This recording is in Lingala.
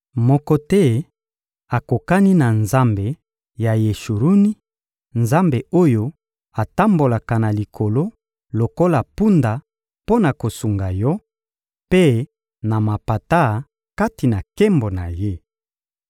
Moko te akokani na Nzambe ya Yeshuruni, Nzambe oyo atambolaka na likolo lokola mpunda mpo na kosunga yo, mpe na mapata, kati na nkembo na Ye.